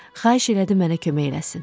Xahiş elədi mənə kömək eləsin.